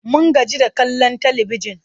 Mun gaji da kallon talibijin.